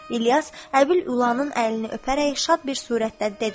İlyas Əbül Ülanın əlini öpərək şad bir surətdə dedi.